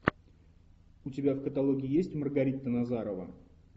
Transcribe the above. у тебя в каталоге есть маргарита назарова